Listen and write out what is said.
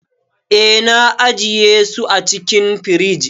Eh, na ajiye su a cikin firij.